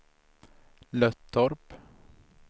Löttorp